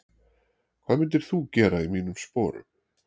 hvað myndir þú gera í mínum sporum?